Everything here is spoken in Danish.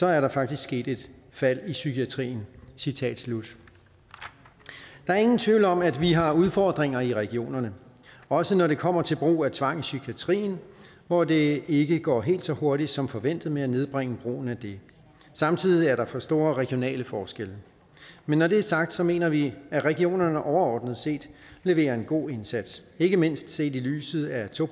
er der faktisk sket et fald i psykiatrien citat slut der er ingen tvivl om at vi har udfordringer i regionerne også når det kommer til brug af tvang i psykiatrien hvor det ikke går helt så hurtigt som forventet med at nedbringe brugen af det samtidig er der for store regionale forskelle men når det er sagt mener vi at regionerne overordnet set leverer en god indsats ikke mindst set i lyset af to